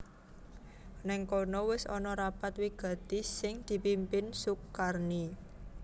Nèng kono wis ana rapat wigati sing dipimpin Sukarni